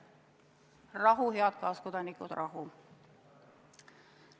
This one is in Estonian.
Rahu, head kaaskodanikud, rahu!